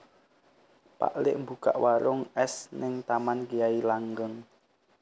Pak lik mbukak warung es ning Taman Kyai Langgeng